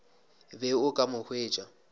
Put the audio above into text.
be o ka mo hwetša